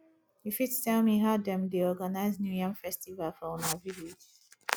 you fit tell me how them dey organize new yam festival for una village